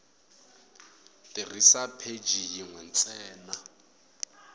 tirhisa pheji yin we ntsena